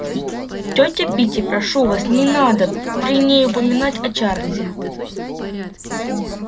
тётя питти прошу вас не надо при ней упоминать о чарлзе